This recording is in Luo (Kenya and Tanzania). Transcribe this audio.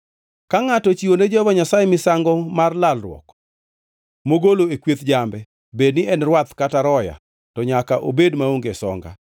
To ka ngʼato ochiwo ne Jehova Nyasaye misango mar lalruok mogolo e kweth jambe bed ni en rwath kata roya to nyaka obed maonge songa.